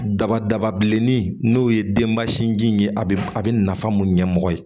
Daba daba bilenni n'o ye denbasiji in ye a bɛ a bɛ nafa mun ɲɛmɔgɔ ye